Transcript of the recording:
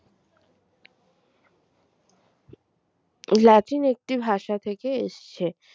Latin একটি ভাষা থেকে এসছে